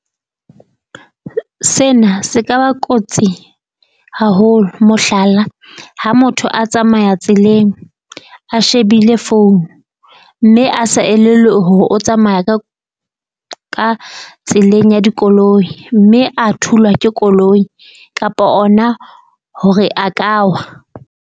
Sena se ka ba kotsi haholo mohlala, ha motho a tsamaya tseleng a shebile founu, mme a sa elellwe hore o tsamaya ka ka tseleng ya dikoloi mme a thulwa ke koloi, kapa ona hore a ka wa.